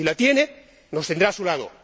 Si la tiene, nos tendrá a su lado